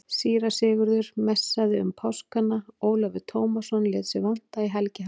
Síra Sigurður messaði um páskana, Ólafur Tómasson lét sig vanta í helgihaldið.